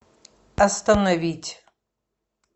остановить